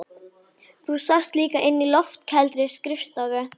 Þú sast líka inni á loftkældri skrifstofu